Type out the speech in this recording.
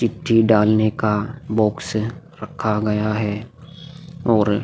चिट्ठी डालने का बॉक्स रखा गया है और --